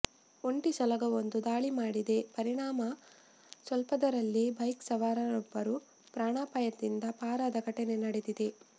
ಒಂಟಿ ಸಲಗವೊಂದು ದಾಳಿ ಮಾಡಿದ ಪರಿಣಾಮ ಸ್ವಲ್ಪದರಲ್ಲೇ ಬೈಕ್ ಸವಾರರೊಬ್ಬರು ಪ್ರಾಣಪಾಯದಿಂದ ಪಾರಾದ ಘಟನೆ ನಡೆದಿದೆ